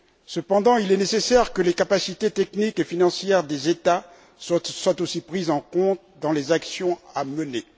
Cependant, il est nécessaire que les capacités techniques et financières des États soient aussi prises en compte dans les actions à mener.